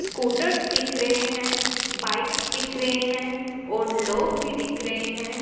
Scooters दिख रहे हैं बाइक दिख रहे हैं और लोग भी दिख रहे हैं।